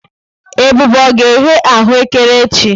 Ebube ọ ga-eghe aghù ékẹrè echi?